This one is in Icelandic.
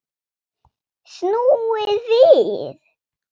Snúið við!